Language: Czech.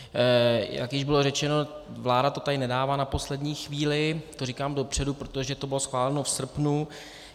Jak již bylo řečeno, vláda to tady nedává na poslední chvíli, to říkám dopředu, protože to bylo schváleno v srpnu.